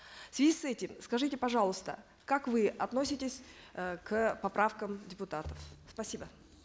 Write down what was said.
в связи с этим скажите пожалуйста как вы относитесь э к поправкам депутатов спасибо